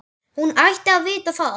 Hann ætti að vita það.